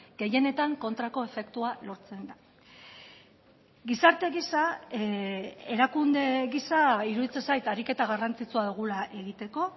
gehienetan kontrako efektua lortzen da gizarte gisa erakunde gisa iruditzen zait ariketa garrantzitsua dugula egiteko